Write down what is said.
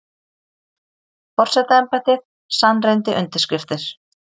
Forsetaembættið sannreyndi undirskriftir